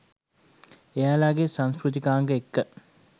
එයාලගෙ සංස්කෘතිකාංග එක්ක